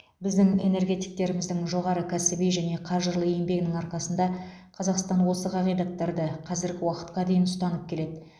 біздің энергетиктеріміздің жоғары кәсіби және қажырлы еңбегінің арқасында қазақстан осы қағидаттарды қазіргі уақытқа дейін ұстанып келеді